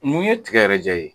Mun ye tigɛ yɛrɛ ja e ye ?